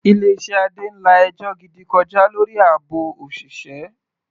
Ilé iṣẹ́ Adé ń la ẹjọ́ gidi kọjá lórí àbò òṣìṣẹ́.